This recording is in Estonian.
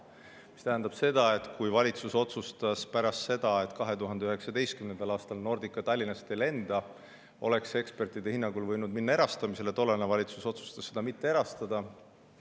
See tähendab seda, et kui valitsus otsustas 2019. aastal, et Nordica Tallinnast ei lenda, oleks see ekspertide hinnangul võinud minna erastamisele, aga tollane valitsus otsustas seda mitte erastada.